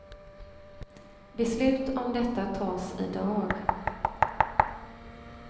Beslut om detta tas i dag.